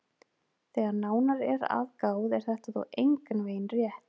Þegar nánar er að gáð er þetta þó engan veginn rétt.